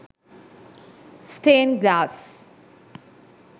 stain glass